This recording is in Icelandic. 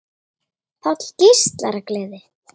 Páll geislar af gleði.